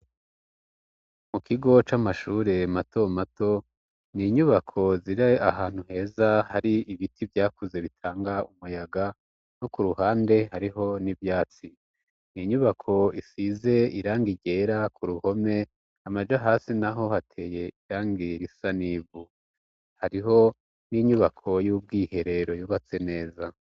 Mu kigo c'amashure mato mato n'inyubako ziri ahantu heza hari ibiti vyakuze bitanga umuyaga no ku ruhande hariho n'ivyatsi, n'inyubako isize irangi ryera ku ruhome, amaja hasi naho hateye irangi risa n'ivu, hariho n'inyubako y'ubwiherero yubatse neza.